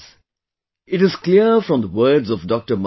Friends, it is clear from the words of Dr